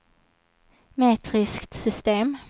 metriskt system